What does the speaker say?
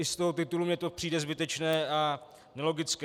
I z toho titulu mi to přijde zbytečné a nelogické.